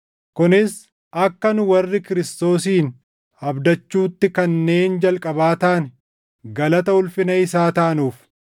kunis akka nu warri Kiristoosin abdachuutti kanneen jalqabaa taane galata ulfina isaa taanuuf.